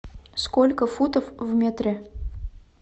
сколько футов в метре